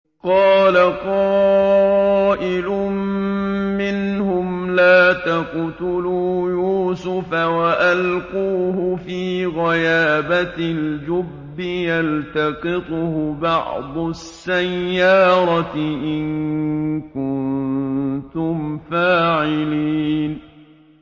قَالَ قَائِلٌ مِّنْهُمْ لَا تَقْتُلُوا يُوسُفَ وَأَلْقُوهُ فِي غَيَابَتِ الْجُبِّ يَلْتَقِطْهُ بَعْضُ السَّيَّارَةِ إِن كُنتُمْ فَاعِلِينَ